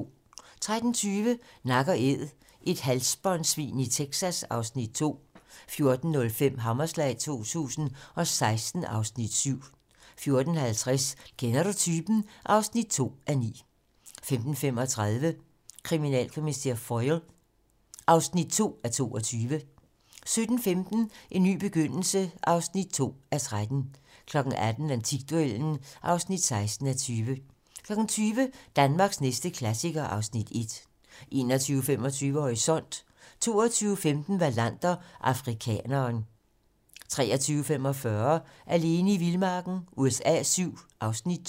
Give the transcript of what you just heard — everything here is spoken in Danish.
13:20: Nak & æd - et halsbåndsvin i Texas (Afs. 2) 14:05: Hammerslag 2016 (Afs. 7) 14:50: Kender du typen? (2:9) 15:35: Kriminalkommissær Foyle (2:22) 17:15: En ny begyndelse (2:13) 18:00: Antikduellen (16:20) 20:00: Danmarks næste klassiker (Afs. 1) 21:25: Horisont 22:15: Wallander: Afrikaneren 23:45: Alene i vildmarken USA VII (Afs. 2)